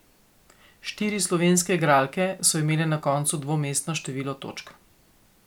Štiri slovenske igralke so imele na koncu dvomestno število točk.